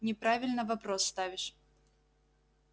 неправильно вопрос ставишь